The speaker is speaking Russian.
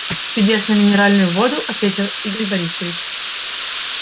чудесную минеральную воду ответил игорь борисович